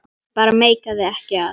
Ég bara meikaði ekki að.